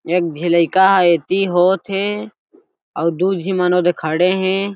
एक झी लइका एति होत हे अउ दु झी मन ओदे खड़े हे।